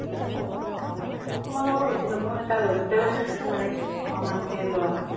তোমালোকৰ পৰা বেছি লব, এটা rose তে মানে দহ তকা মান কে লোৱা হয়।